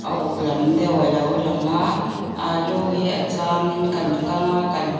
uk lam deuh a lo lang a alu hi a chângin kan kang a kan--